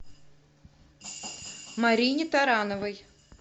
марине тарановой